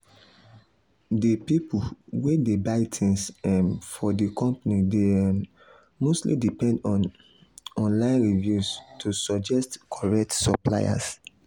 di pipu wey dey buy things um for di company dey um mostly depend on um online reviews to suggest correct suppliers.